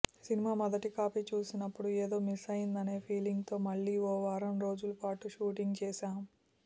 cinema మొదటి copy చూసినప్పుడు ఏదో మిస్ అయిందనే ఫీలింగ్తో మళ్లీ ఓ వారం రోజుల పాటు షూట్ చేశాం